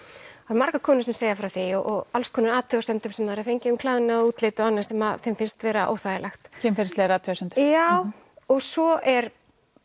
margar konur sem segja frá því og alls konar athugasemdum sem þær hafa fengið um klæðnað útlit og annað sem þeim finnst vera óþægilegt kynferðislegar athugasemdir jaaá og svo er